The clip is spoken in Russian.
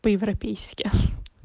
по-европейски